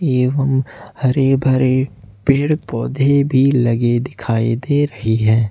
एवं हरे भरे पेड़ पेड़ पौधे भी लगे दिखाई दे रही है।